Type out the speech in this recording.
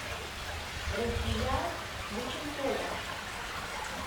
рукия быченкова